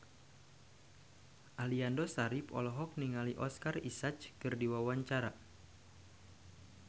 Aliando Syarif olohok ningali Oscar Isaac keur diwawancara